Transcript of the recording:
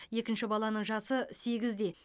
екінші баланың жасы сегізде